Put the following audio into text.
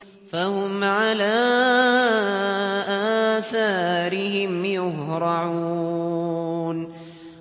فَهُمْ عَلَىٰ آثَارِهِمْ يُهْرَعُونَ